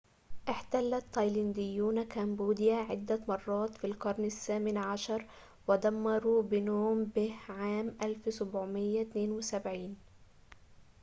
احتل التايلانديون كامبوديا عدة مرات في القرن الثامن عشر ودمروا بنوم بنه عام 1772